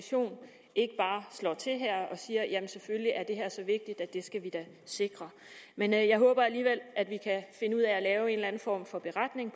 ikke bare slår til her og siger jamen selvfølgelig er det her så vigtigt at det skal vi da sikre men jeg håber alligevel at vi kan finde ud af at lave en eller anden form for beretning